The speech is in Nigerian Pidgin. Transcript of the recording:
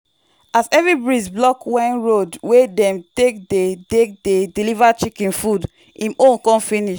as heavy breeze block when road wey dem take dey take dey deliver chicken food him own con finish.